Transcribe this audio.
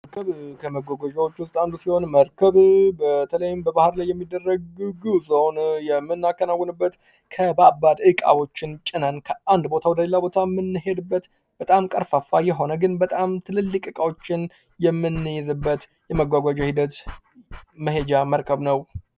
መርከብ ከመጓጓዦች ውስጥ አንዱ ሲሆን መርከብ ከባድ እቃዎችን የምናጓጉበት ከአንድ ቦታ ወደሌላ ቦታ የምንጓዝበት በጣም ቀረፋፋ የሆነ ግን በጣም ትልልቅ እቃዎችን የምንይዝበትን መጓጓዣ ነው የመሄጃ መርከብ ነው።